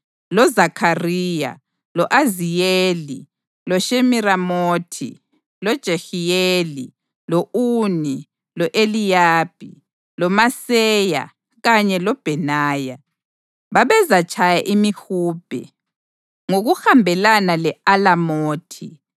loZakhariya, lo-Aziyeli, loShemiramothi, loJehiyeli, lo-Uni, lo-Eliyabi, loMaseya kanye loBhenaya babezatshaya imihubhe, ngokuhambelana le-alamothi